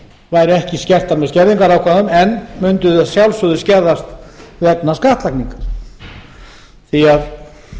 væru ekki skertar með skerðingarákvæðum en mundu að sjálfsögðu skerðast vegna skattlagningar því að